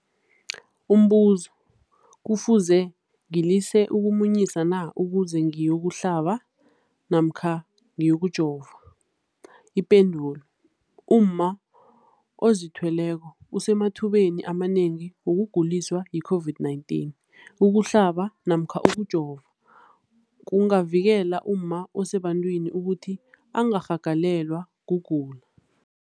Umbuzo, kufuze ngilise ukumunyisa na ukuze ngiyokuhlaba namkha ngiyokujova? Ipendulo, umma ozithweleko usemathubeni amanengi wokuguliswa yi-COVID-19. Ukuhlaba namkha ukujova kungavikela umma osebantwini ukuthi angarhagalelwa kugula.